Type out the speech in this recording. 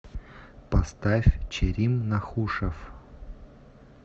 поставь черим нахушев